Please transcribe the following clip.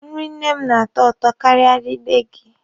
Nrị nne m na-atọ ụtọ karịa nri nne gị.